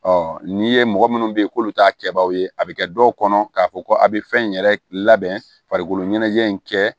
n'i ye mɔgɔ minnu bɛ ye k'olu t'a kɛbagaw ye a bɛ kɛ dɔw kɔnɔ k'a fɔ ko a bɛ fɛn in yɛrɛ labɛn farikolo ɲɛnajɛ in kɛ